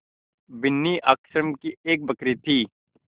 बिन्नी आश्रम की एक बकरी थी